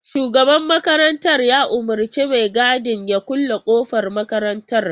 Shugaban makarantar ya umurci mai gadin ya kulle kofar makarantar.